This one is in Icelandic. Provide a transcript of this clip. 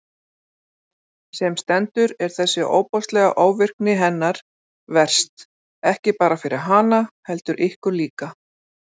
Sem stendur er þessi ofboðslega ofvirkni hennar verst, ekki bara fyrir hana, heldur ykkur líka.